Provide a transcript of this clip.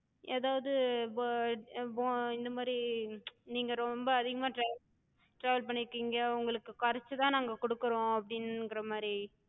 எதாது இப்ப இப்போ இந்தமாரி நீங்க ரொம்ப அதிகமா travel travel பண்ணிருக்கிங்க, உங்களுக்குக் கொறச்சுதா நாங்க குடுக்குறோ அப்டிங்கற மாரி,